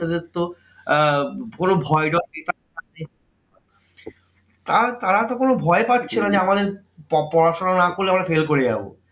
বাচ্চাদের তো আহ কোনো ভয়ডর আর তারা তো কোনো ভয় পাচ্ছে না যে আমাদের প~ পড়াশোনা না করলে আমরা fail করে যাবো।